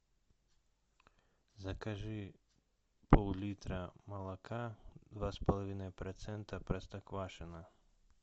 закажи пол литра молока два с половиной процента простоквашино